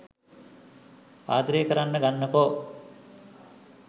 ආදරේ කරන්න ගන්නකෝ.